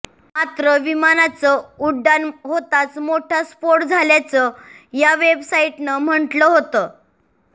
मात्र विमानाचं उड्डाण होताच मोठा स्फोट झाल्याचं या वेबसाईटनं म्हटलं होतं